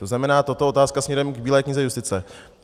To znamená tato otázka směrem k Bílé knize justice.